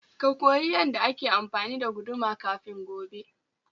Ka koyi yanda ake amfani da guduma kafin gobe.